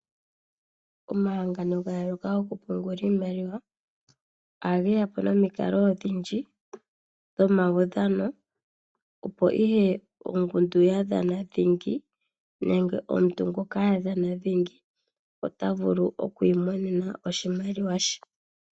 Omahangano gayooloka go ku pungula iimaliwa, oha geya po nomikalo odhindji dhomawudhano. Opo ihe ongundu ya dha dhingi, nenge omuntu ngoka a dhana dhingi, ota vulu oku imonena oshimaliwa she.